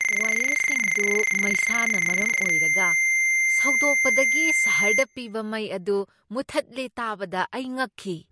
ꯋꯥꯌꯔꯁꯤꯡꯗꯨ ꯃꯩꯁꯥꯅ ꯃꯔꯝ ꯑꯣꯏꯔꯒ ꯁꯧꯗꯣꯛꯄꯗꯒꯤ ꯁꯍꯔꯗ ꯄꯤꯕ ꯃꯩ ꯑꯗꯨ ꯃꯨꯊꯠꯂꯦ ꯇꯥꯕꯗ ꯑꯩ ꯉꯛꯈꯤ ꯫